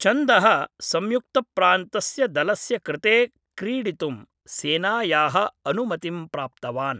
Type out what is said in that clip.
चन्दः संयुक्तप्रान्तस्य दलस्य कृते क्रीडितुं सेनायाः अनुमतिं प्राप्तवान् ।